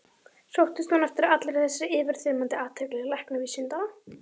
Sóttist hún eftir allri þessari yfirþyrmandi athygli læknavísindanna?